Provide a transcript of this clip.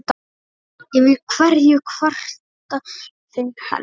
Yfir hverju kvarta þeir helst?